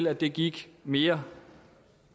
at det gik mere